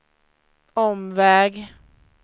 omväg